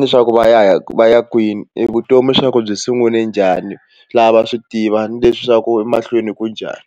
leswaku va ya va ya kwini vutomi swa ku byi sungule njhani lava va swi tiva ni leswaku emahlweni ku njhani.